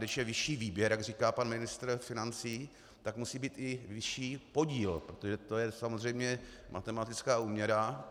Když je vyšší výběr, jak říká pan ministr financí, tak musí být i vyšší podíl, protože je to samozřejmě matematická úměra.